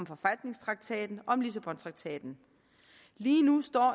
forfatningstraktaten og lissabontraktaten lige nu står